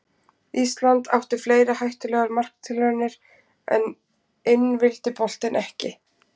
Ísland átti fleiri hættulegar marktilraunir en inn vildi boltinn ekki.